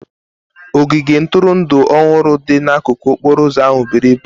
Ogige ntụrụndụ ọhụrụ dị n'akụkụ okporo ụzọ ahụ buru ibu.